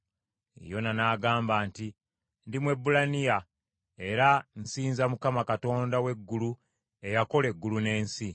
Yona n’agamba nti, “Ndi Mwebbulaniya; era nsinza Mukama , Katonda w’eggulu eyakola eggulu n’ensi.”